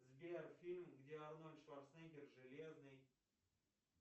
сбер фильм где арнольд шварценеггер железный